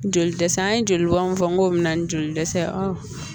Joli dɛsɛ an ye jolibɔn fɔ ngo bɛ na ni joli dɛsɛ